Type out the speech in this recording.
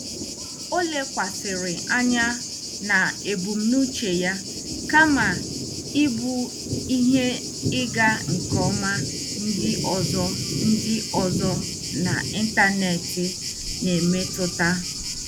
Ọ lekwasịrị anya n'ebumnuche ya kama ịbụ ihe ịga nke ọma ndị ọma ndị ọzọ n'ịntanetị na-emetụta.